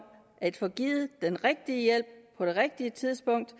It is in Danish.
at få givet den rigtige hjælp på det rigtige tidspunkt